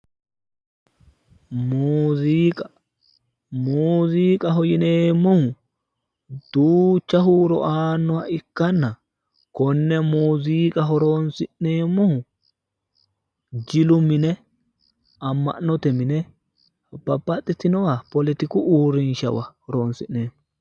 muziiqa muziiqaho yineemmohu duucha huuro aannoha ikkanna konne muziiqa horonsi'neemmohu jilu mine amma'note mine babbaxitinowa poletiku uurrinshawa horonsi'neemmo.